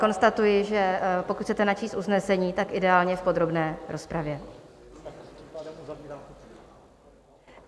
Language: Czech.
Konstatuji, že pokud chcete načíst usnesení, tak ideálně v podrobné rozpravě.